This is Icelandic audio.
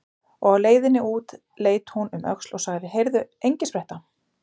Og á leiðinni út leit hún um öxl og sagði: Heyrðu, Engispretta.